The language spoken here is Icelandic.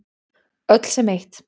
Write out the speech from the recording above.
Öll sem eitt.